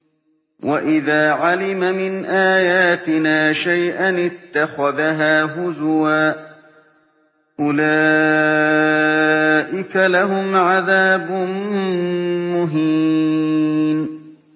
وَإِذَا عَلِمَ مِنْ آيَاتِنَا شَيْئًا اتَّخَذَهَا هُزُوًا ۚ أُولَٰئِكَ لَهُمْ عَذَابٌ مُّهِينٌ